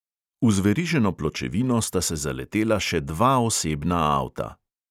V zveriženo pločevino sta se zaletela še dva osebna avta.